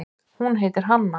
Hún heitir Hanna.